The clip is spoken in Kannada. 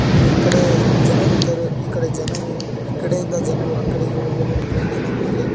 ಮತ್ತು ಈಕಡೆ ಜನರಿದ್ದಾರೆ ಈಕಡೆ ಜನರು ಈ ಕಡೆಯಿಂದ ಜನರು ಆ ಕಡೆಗೆ ಹೋಗಲು ಜನರು ಟ್ರೈನಿನ ಮೇಲೆ--